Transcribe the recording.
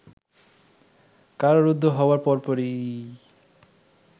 কারারুদ্ধ হওয়ার পরপরই